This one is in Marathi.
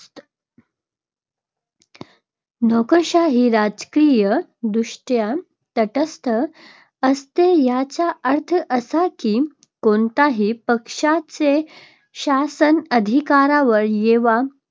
नोकरशाही राजकीयदृष्ट्या तटस्थ असते. याचा अर्थ असा की, कोणत्याही पक्षाचे शासन अधिकारावर येवो,